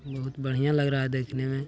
बहुत बढ़िया लग रहा है देखने मे।